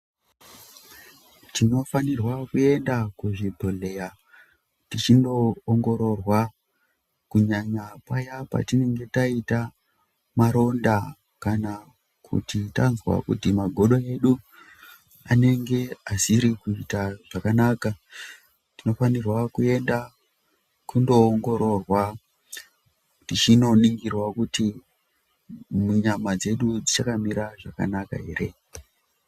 Tinofanirwa kuenda kuzvibhehlera techino ongororwa kunyanya paya patinge taita maronda kana kuti tanzwa kuti magodo edu anenge ari kuita zvakananka, tinofanira kuenda kunoongororwa techiningirwa kuti nyama dzedu dzichakamira zvakanaka here